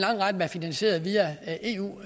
er jo